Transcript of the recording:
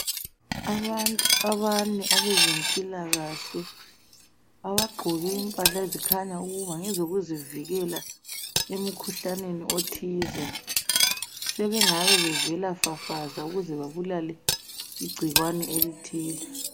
Abantu abane abezempilakahle abagqoke impahla ezikhanya ukuba ngezokuzivikela emkhuhlaneni othize ,sebengabe bevela fafaza ukuze babulale igcikwani elithile.